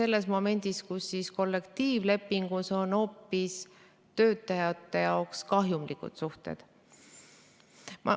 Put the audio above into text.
Lõpuks ongi kollektiivlepingus töötajate jaoks hoopis kahjulikud suhted.